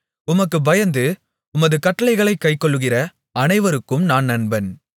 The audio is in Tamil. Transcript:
உமக்குப் பயந்து உமது கட்டளைகளைக் கைக்கொள்ளுகிற அனைவருக்கும் நான் நண்பன்